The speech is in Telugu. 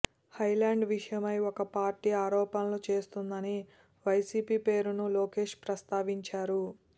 హాయ్ల్యాండ్ విషయమై ఒక పార్టీ ఆరోపణలు చేస్తోందని వైసీపీ పేరును లోకేష్ ప్రస్తావించారు